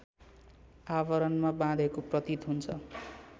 आवरणमा बाधेको प्रतीत हुन्छ